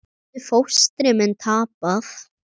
Getur fóstri minn tapað?